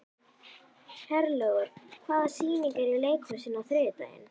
Herlaugur, hvaða sýningar eru í leikhúsinu á þriðjudaginn?